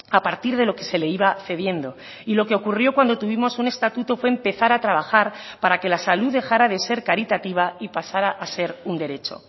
a partir de lo que se le iba cediendo y lo que ocurrió cuando tuvimos un estatuto fue empezar a trabajar para que la salud dejara de ser caritativa y pasara a ser un derecho